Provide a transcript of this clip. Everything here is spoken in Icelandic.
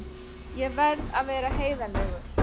Ég verð að vera heiðarlegur.